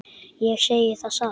Ég segi það satt.